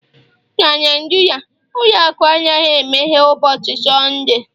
na Naijiria ụlọ akụ anaghị emeghe ụbọchị Sọnde